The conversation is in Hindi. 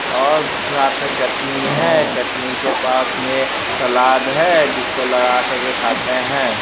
और साथ पे चटनी है-ए चटनी के पास मै सालाड है-ए जिसको लगा कर के खाते है।